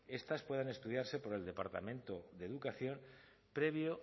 estas pueden estudiarse por el departamento de educación previo